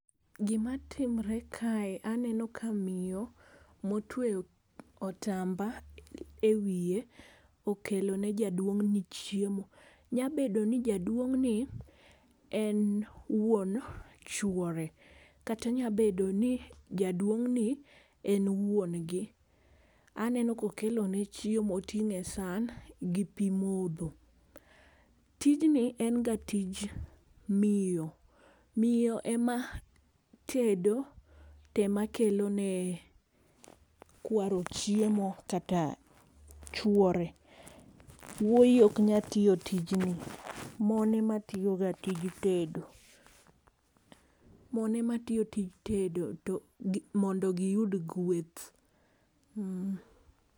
Gi ma timre kae, aneno ka miyo ma otweyo otamba e wiye okelo ne jaduong ni chiemo. Nyabedo ni jaduong' ni en wuon chuore kata nyabedo ni jaduong' ni en wuon gi ,aneno ka okelo ne chiemo oting'o e san gi pi modho. Tijni en ga tij miyo, miyo e ma tedo to ema kelo ne kwaro chiemo kata chuore. Wuoyi ok nya tiyo tijni mon ema tiyo ga tij tedo, mon ema tiyo tij tedo mondo gi yud gweth.